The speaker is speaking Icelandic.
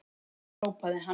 hrópaði hann.